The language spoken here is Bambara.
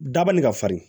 Dabali ka farin